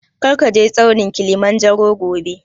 Kar ka je tsaunin Kilimanjaro gobe!